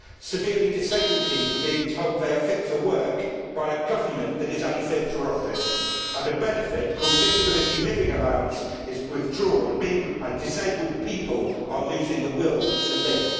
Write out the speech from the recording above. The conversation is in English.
Severely disabled people are being told they are fit for work by a government that is unfit for office and a benefit called Disability Living Allowance is being withdrawn and disabled people are losing the will to live.